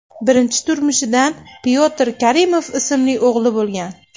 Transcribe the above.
Birinchi turmushidan Pyotr Karimov ismli o‘g‘li bo‘lgan.